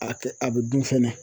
A kɛ a bɛ dun fɛnɛ.